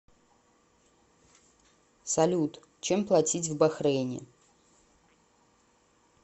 салют чем платить в бахрейне